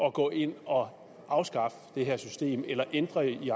at gå ind og afskaffe det her system eller ændre i